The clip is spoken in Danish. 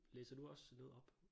Læser du også noget op?